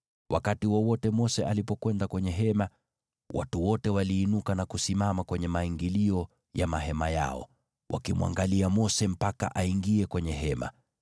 Wakati wowote Mose alipokwenda kwenye Hema, watu wote waliinuka na kusimama kwenye maingilio ya mahema yao, wakimwangalia Mose mpaka aingie kwenye Hema.